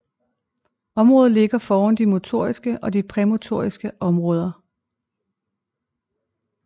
Området ligger foran de motoriske og præmotoriske områder